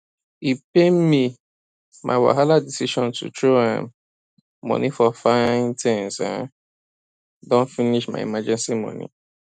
e pain me my wahala decision to throw um money for fine things um don finish my emergency money